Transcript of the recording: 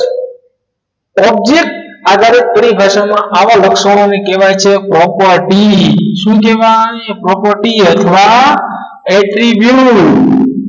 object આધારે ભાષામાં આવા લક્ષણોને કહેવાય છે property શું કહેવાય property અથવા attribute